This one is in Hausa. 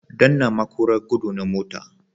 Danna maƙura gudu na motar.